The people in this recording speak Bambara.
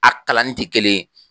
A kalan nin tɛ kelen ye.